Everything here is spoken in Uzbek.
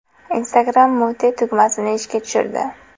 Instagram Mute tugmasini ishga tushirdi.